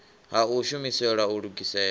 ha u shumiselwa u lugisela